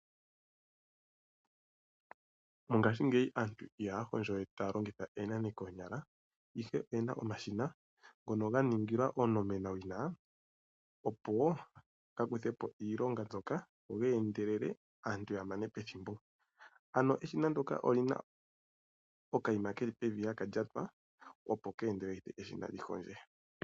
Mongaashingeyi aantu ihaya hondjo we taya longitha oonane noonyala ihe oyena omashina ngoka gandulukwapo owina opo gakuthe po iilonga mbyoka meendelelo aantu yamane pethimbo. Eshina lyoka olyina oka yima keli pevi ano haka lyatwa opo keendeleleke eshina lyihondje.